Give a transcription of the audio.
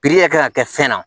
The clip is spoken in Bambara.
yɛrɛ kan ka kɛ fɛn na